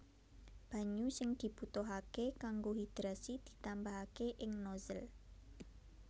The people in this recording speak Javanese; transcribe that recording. Banyu sing dibutuhaké kanggo hidrasi ditambahaké ing nozzle